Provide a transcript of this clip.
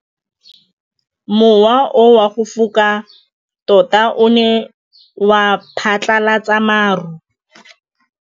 Mowa o wa go foka tota o ne wa phatlalatsa maru.